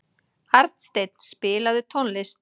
Arnsteinn, spilaðu tónlist.